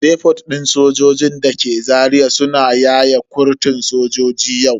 Depot din sojojin dake Zaria suna yaye kurtun sojoji yau.